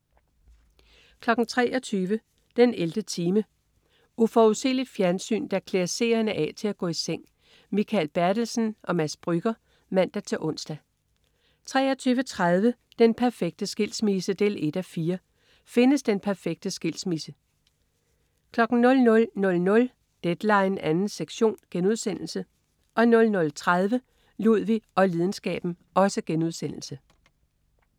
23.00 den 11. time. Uforudsigeligt fjernsyn, der klæder seerne af til at gå i seng. Mikael Bertelsen/Mads Brügger (man-ons) 23.30 Den perfekte skilsmisse 1:4. Findes den perfekte skilsmisse? 00.00 Deadline 2. sektion* 00.30 Ludvig og lidenskaben*